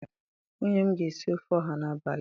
nwunye m ga esi ofe oha n'abali a.